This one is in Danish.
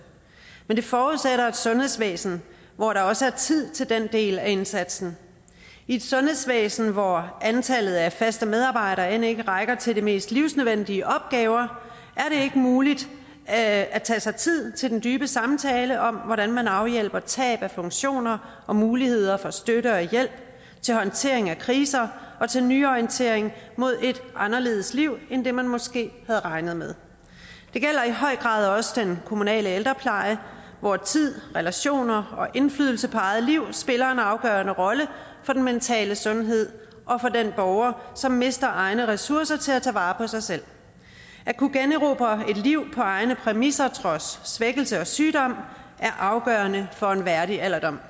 men det forudsætter et sundhedsvæsen hvor der også tid til den del af indsatsen i et sundhedsvæsen hvor antallet af faste medarbejdere end ikke rækker til de mest livsnødvendige opgaver er det ikke muligt at at tage sig tid til den dybe samtale om hvordan man afhjælper tab af funktioner og muligheder for støtte og hjælp til håndtering af kriser og til nyorientering mod et anderledes liv end det man måske havde regnet med det gælder i høj grad også den kommunale ældrepleje hvor tid relationer og indflydelse på eget liv spiller en afgørende rolle for den mentale sundhed og for den borger som mister egne ressourcer til at tage vare på sig selv at kunne generobre et liv på egne præmisser trods svækkelse og sygdom er afgørende for en værdig alderdom